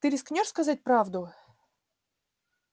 ты рискнёшь сказать правду